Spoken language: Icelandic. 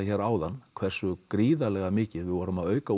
áðan hversu gríðarlega mikið við vorum að auka